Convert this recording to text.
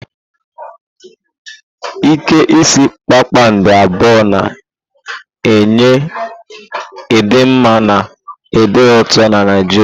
Ike isi kpakpando abụọ na-enye ịdị mma na ịdị n'otu na Naijiria.